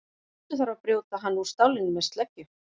Stundum þarf að brjóta hann úr stálinu með sleggju.